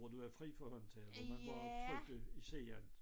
Hvor du er fri for håndtaget hvor man bare trykkede i siden